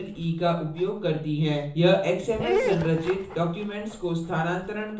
यह xml संरचित documents को स्थानांतरण करने के लिए उपयोगी है